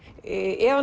ef